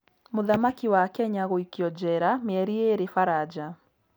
Mũthaki wa Kenya gũikio njera mĩeri ĩĩrĩ Faranja